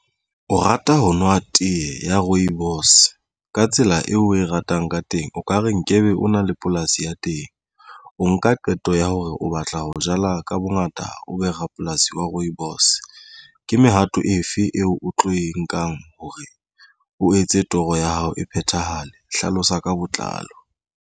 O rata ho nwa tee ya Rooibos ka tsela eo o e ratang ka teng o ka re nkebe o na le polasi ya teng o nka qeto ya hore o batla ho jala ka bongata o be rapolasi wa Rooibos. Ke mehato efe eo o tlo e nkang hore o etse toro ya hao e phethahale. Hlalosa ka botlalo.